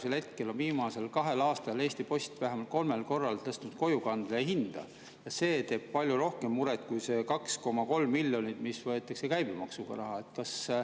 Sest praegu on viimasel kahel aastal Eesti Post vähemalt kolmel korral tõstnud kojukande hinda ja see teeb palju rohkem muret kui see 2,3 miljonit, mis võetakse käibemaksuga.